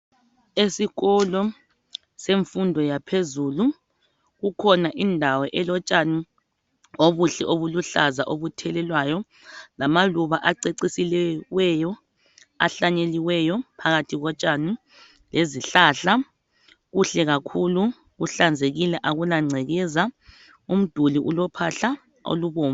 Esikolo semfundo yaphezulu kukhona indawo elotshani obuhle obuluhlaza obuthelelwayo lamaluba acecisiweyo ahlanyeliweyo phakathi kotshani lezihlahla kuhle kakhulu kuhlanzekile akula ngcekeza umduli ulophahla olubomvu